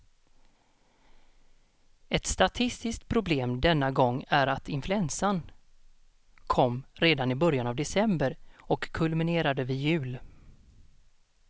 Ett statistiskt problem denna gång är att influensan kom redan i början av december och kulminerade vid jul.